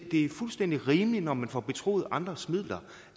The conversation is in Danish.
det er fuldstændig rimeligt når man får betroet andres midler